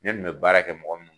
Ne kun be baara kɛ mɔgɔ min